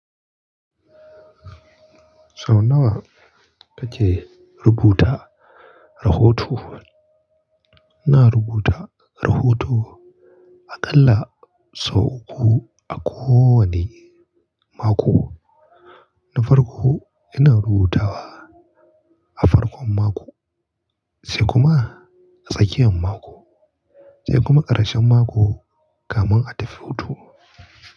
Sau nawa kake rubuta rahoto? Ina rubuta rahoto aƙalla sau uku a kowane mako. Da farko ina rubutawa a farkon mako sai kuma a tsakiyan mako sai kuma ƙarshen mako kamin a tafi hutu.